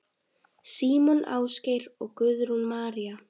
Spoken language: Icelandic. Símon Ásgeir og Guðrún María.